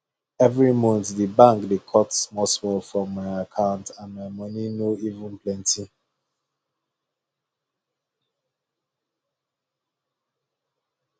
every month the bank dey cut smallsmall from my account and my money no even plenty um